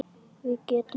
Við getum allt.